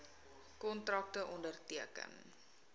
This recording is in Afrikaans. kontrakte onderteken